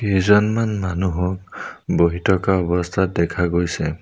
কেইজনমান মানুহক বহি থকা অৱস্থাত দেখা গৈছে।